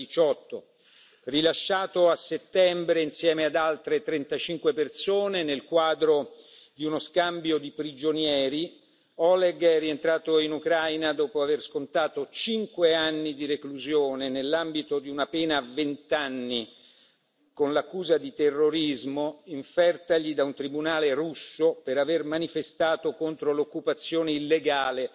2018. Rilasciato a settembre insieme ad altre 35 persone nel quadro di uno scambio di prigionieri, Oleg è rientrato in Ucraina dopo aver scontato cinque anni di reclusione, nell'ambito di una pena a vent'anni con l'accusa di terrorismo, infertagli da un tribunale russo per aver manifestato contro l'occupazione illegale